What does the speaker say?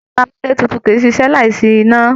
Ẹrọ amúlétutù kìí ṣiṣẹ́ láì sí iná.